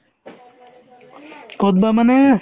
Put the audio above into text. ক'ত বা মানে